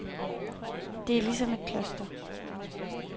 Det er ligesom et kloster.